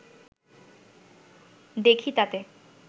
দেখি তাতে